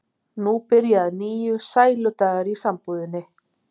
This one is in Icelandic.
Nú byrja að nýju sæludagar í sambúðinni.